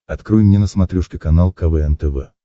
открой мне на смотрешке канал квн тв